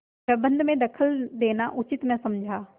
प्रबंध में दखल देना उचित न समझा